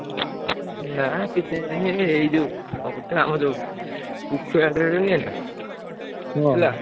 ନା କିଛି ନାହିଁ, ଏଇ ଯୋଉ ଅବିକା ଆମର ।